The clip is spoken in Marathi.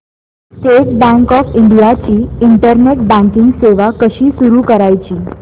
स्टेट बँक ऑफ इंडिया ची इंटरनेट बँकिंग सेवा कशी सुरू करायची